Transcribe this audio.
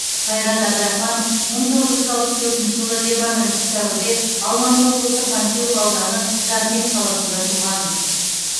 қайрат әбдірахманов бір мың тоғыз жүз алпыс төртінші жылы жиырма бірінші сәуірде алматы облысы панфилов ауданы жаркент қаласында туған